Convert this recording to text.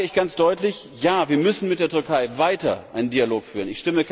Deswegen sage ich ganz deutlich Ja, wir müssen mit der Türkei weiter einen Dialog führen.